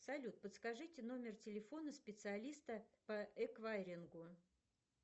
салют подскажите номер телефона специалиста по эквайрингу